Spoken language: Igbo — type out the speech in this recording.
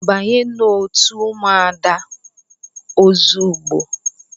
Banye n'otu ụmụada ozugbo!